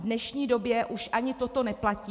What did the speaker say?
V dnešní době už ani toto neplatí.